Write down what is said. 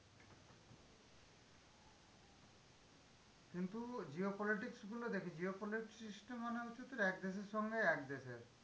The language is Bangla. কিন্তু geo politics গুলো দেখি, geo politics টা মানে হচ্ছে তোর এক দেশের সঙ্গে এক দেশের।